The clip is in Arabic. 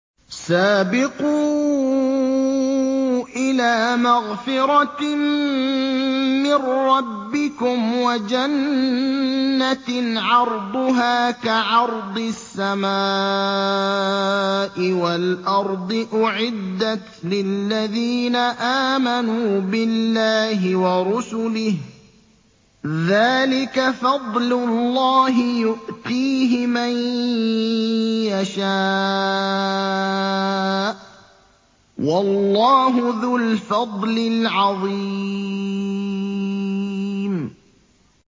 سَابِقُوا إِلَىٰ مَغْفِرَةٍ مِّن رَّبِّكُمْ وَجَنَّةٍ عَرْضُهَا كَعَرْضِ السَّمَاءِ وَالْأَرْضِ أُعِدَّتْ لِلَّذِينَ آمَنُوا بِاللَّهِ وَرُسُلِهِ ۚ ذَٰلِكَ فَضْلُ اللَّهِ يُؤْتِيهِ مَن يَشَاءُ ۚ وَاللَّهُ ذُو الْفَضْلِ الْعَظِيمِ